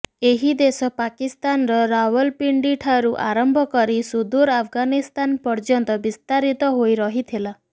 ଏହି ଦେଶ ପାକିସ୍ତାନର ରାଓ୍ବଲପିଣ୍ଡି ଠାରୁ ଆରମ୍ଭ କରି ସୁଦୂର ଆଫଗାନିସ୍ତାନ ପର୍ଯ୍ୟନ୍ତ ବିସ୍ତାରିତ ହୋଇ ରହିଥିଲା